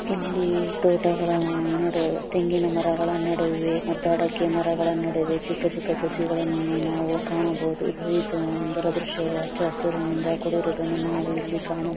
ಇಲ್ಲಿ ತೋಟಗಳ ಅಹ್ ನಡುವೆ ತೆಂಗಿನಮರಗಳ ನಡುವೆ ಮತ್ತು ಅಡಕೆ ಮರಗಳ ನಡುವೆ ಚಿಕ್ಕ ಚಿಕ್ಕ ಸಸಿಗಳನ್ನು ನಾವು ಕಾಣಬೊಹುದು. ಇದು ಈ ಸುಂದರ ದೃಶ್ಯವು ಹಚ್ಚ ಹಸಿರುನಿಂದ ಕೂಡಿರುವುದು ನಾವು ಇಲ್ಲಿ ಕಾಣಬೊಹುದು.